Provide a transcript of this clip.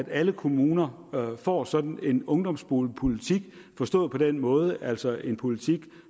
alle kommuner får sådan en ungdomsboligpolitik forstået på den måde at det altså er en politik